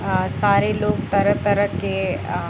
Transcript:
अ सारे लोग तरह-तरह के अ --